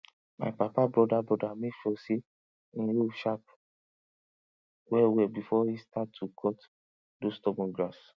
my papa broda broda make sure say hin hoe sharp well well before he start to cut those stubborn grass